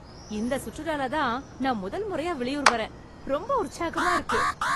இந்த சுற்றுலால தான் நான் முதல் முறையா வெளியூர் வரேன். ரொம்ப உற்சாகமா இருக்கு.